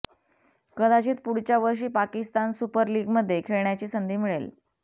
कदाचित पुढच्या वर्षी पाकिस्तान सुपर लीगमध्ये खेळण्याची संधी मिळेल